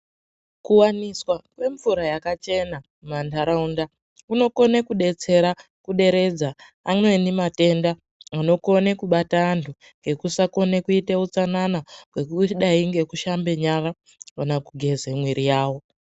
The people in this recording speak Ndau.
Kuwaniswa kwemvura yakachena mumantaraunda kunokone kudetsera kuderedza amweni matenda anokone kubate antu ngekusakone kuite utsanana wekudai ngekushambe nyara kana kugeze mwiri yavo.